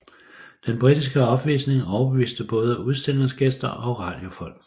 Den britiske opvisning overbeviste både udstillingsgæster og radiofolk